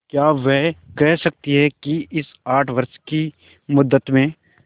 क्या वे कह सकती हैं कि इस आठ वर्ष की मुद्दत में